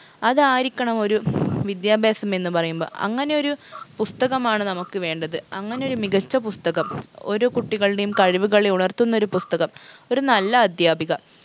അതായിരിക്കണം ഒരു വിദ്യാഭ്യാസം എന്ന് പറയുമ്പൊ അങ്ങനെയൊരു പുസ്തകമാണ് നമുക്ക് വേണ്ടത് അങ്ങനൊരു മികച്ച പുസ്തകം ഓരോ കുട്ടികളുടെയും കഴിവുകളെ ഉണർത്തുന്നൊരു പുസ്തകം ഒരു നല്ല അദ്ധ്യാപിക